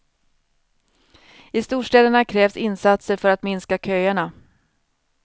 I storstäderna krävs insatser för att minska köerna.